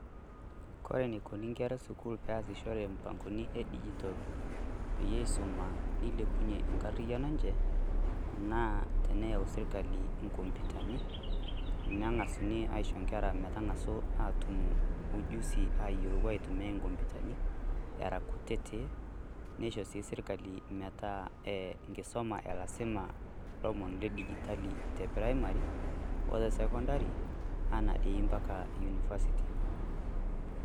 Ore enikoni enkere esukuul peesishore imp'angoni edijital peyie eisuma nilepunyie enkarriyiano enche naa teneyau sipitali enkomputani nang'asuni aisho enkera atuum menotito ujusi toweujitin neyai enkomputani, era kutitik neisho sii serkali metaa lasima olomoni ledinitali the primary ote sekondari o impaka university.